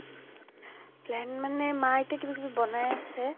plan মানে মা এতিয়া কিবা কিবি বনাই আছে।